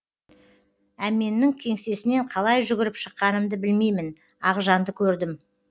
әменнің кеңсесінен қалай жүгіріп шыққанымды білмеймін ақжанды көрдім